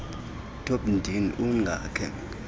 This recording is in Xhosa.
topi ndini ungakhe